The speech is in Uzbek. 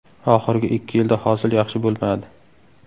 Oxirgi ikki yilda hosil yaxshi bo‘lmadi.